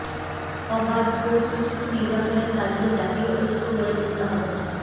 অবাধ ও সুষ্ঠু নির্বাচনের দাবিতে জাতীয় ঐক্য গড়ে তুলতে হবে